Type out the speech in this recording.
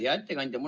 Hea ettekandja!